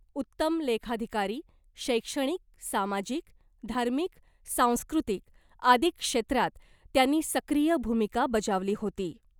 उत्तम लेखाधिकारी , शैक्षणिक , सामाजिक , धार्मिक , सांस्कृतिक आदी क्षेत्रात त्यांनी सक्रिय भूमिका बजावली होती .